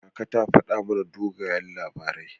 Kaka ta faɗa mana dogayen labarai.